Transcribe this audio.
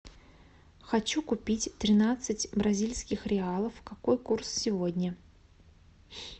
хочу купить тринадцать бразильских реалов какой курс сегодня